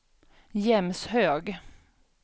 Jämshög